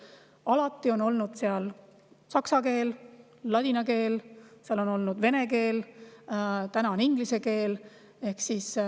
Seal on olnud saksa keel, ladina keel, seal on olnud vene keel, täna on inglise keel.